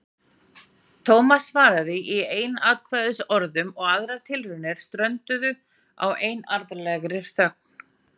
Thomas svaraði í einsatkvæðisorðum og aðrar tilraunir strönduðu á einarðlegri þögn.